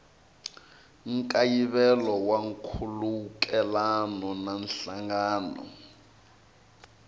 nkayivelo wa nkhulukelano na nhlangano